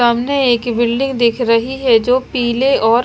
सामने एक बिल्डिंग दिख रही है जो पीले और--